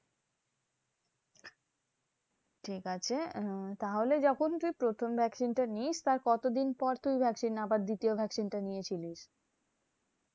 ঠিকাছে আহ তাহলে যখন তুই প্রথম vaccine টা নিস্ তার কতদিন পর তুই vaccine আবার দ্বিতীয় vaccine টা নিয়েছিলি?